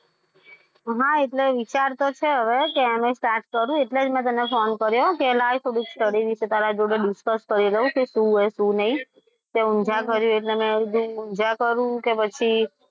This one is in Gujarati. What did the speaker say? હા એટલે વિચાર તો છે હવે કે એમણે start કરું. એટલે જ મેં તને phone કર્યો કે લાય થોડું study વિશે તારા જોડે discuss કરી લો. શું છે શું નહીં તે ઊંઝા કર્યું એટલે કે મેં કીધું ઊંઝા કરું કે પછી,